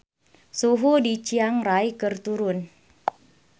Suhu di Chiang Rai keur turun